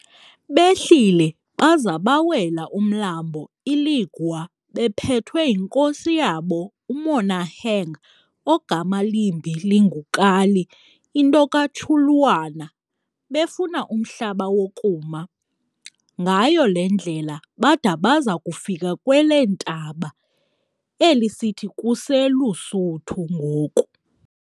Behlile baza bawela umlambo iLigwa bephethwe yinkosi yabo uMonaheng ogama limbi linguKali into kaTshulwana, befuna umhlaba wokuma. Ngayo le ndlela bada baza kufika kweleentaba, eli sithi kuseLusuthu ngoku.